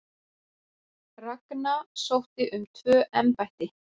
Ragna sótti um tvö embætti